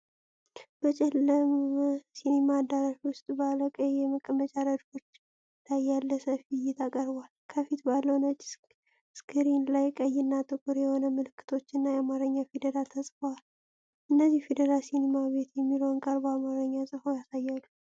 በጨለመ ሲኒማ አዳራሽ ውስጥ ባሉ ቀይ የመቀመጫ ረድፎች ላይ ያለ ሰፊ እይታ ቀርቧል። ከፊት ባለው ነጭ ስክሪን ላይ ቀይና ጥቁር የሆኑ ምልክቶች እና የአማርኛ ፊደላት ተጽፈዋል። እነዚህ ፊደላት 'ሲኒማ ቤት' የሚለውን ቃል በአማርኛ ጽፈው ያሳያሉ።